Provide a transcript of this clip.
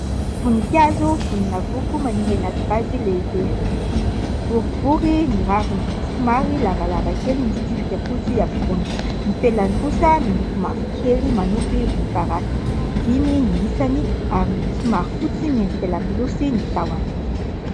Voninkazo voninavoko maniry anaty vazy lehibe. Boribory ny raviny, somary lavalava kely misy tsipika fotsy ampovoany. Ny felany kosa miloko mavokely manopy volomparasy. Dimy ny isany ary somary fotsy miendrika lakolosy ny tahony.